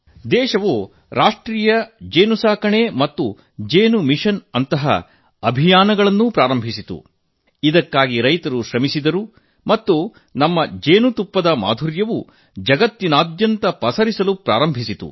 ದೇಶವು ರಾಷ್ಟ್ರೀಯ ಜೇನು ಸಾಕಣೆ ಮತ್ತು ಜೇನು ಮಿಷನ್ ನಂತಹ ಅಭಿಯಾನಗಳನ್ನು ಆರಂಭಿಸಿದೆ ಅದಕ್ಕಾಗಿ ರೈತರು ಕಷ್ಟಪಟ್ಟು ದುಡಿದು ನಮ್ಮ ಜೇನುತುಪ್ಪದ ಸಿಹಿಯವನ್ನು ಜಗತ್ತಿನಾದ್ಯಂತ ಪಸರಿಸಲು ಆರಂಭಿಸಿದ್ದಾರೆ